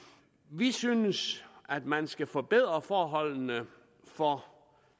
vi synes at man skal forbedre forholdene for